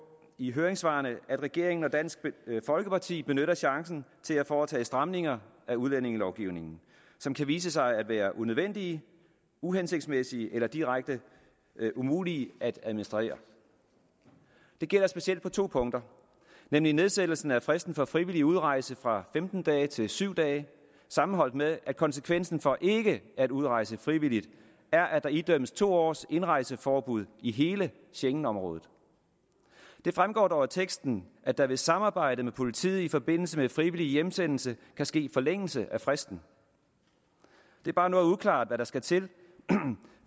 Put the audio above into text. i høringssvarene at regeringen og dansk folkeparti benytter chancen til at foretage stramninger af udlændingelovgivningen som kan vise sig at være unødvendige uhensigtsmæssige eller direkte umulige at administrere det gælder specielt på to punkter nemlig nedsættelsen af fristen for frivillig udrejse fra femten dage til syv dage sammenholdt med at konsekvensen for ikke at udrejse frivilligt er at der idømmes to års indrejseforbud i hele schengenområdet det fremgår dog af teksten at der ved samarbejde med politiet i forbindelse med frivillig hjemsendelse kan ske en forlængelse af fristen det er bare noget uklart hvad der skal til